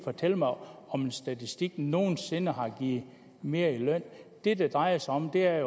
fortælle mig om om en statistik nogen sinde har givet mere i løn det det drejer sig om er